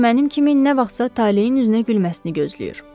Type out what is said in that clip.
O da mənim kimi nə vaxtsa taleyin üzünə gülməsini gözləyir.